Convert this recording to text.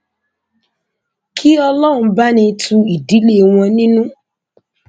kí ọlọrun bá ní tu ìdílé wọn nínú